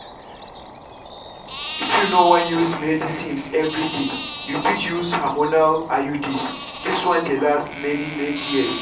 if you no wan use medicines everyday you fit use hormonal iuds. this one dey last many-many years.